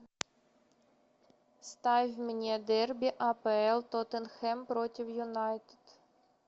ставь мне дерби апл тоттенхэм против юнайтед